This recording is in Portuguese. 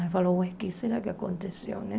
Aí falou, ué, o que será que aconteceu, né?